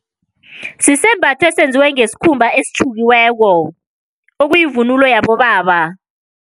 Sisembatho esenziwe ngesikhumba esitjhukiweko, okuyivunulo yabobaba.